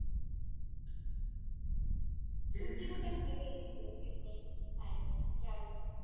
तर तुमची कुठं कुठं गेली होती picnic